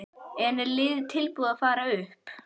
En er liðið tilbúið til að fara upp?